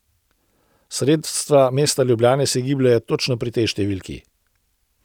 Sredstva mesta Ljubljane se gibljejo točno pri tej številki.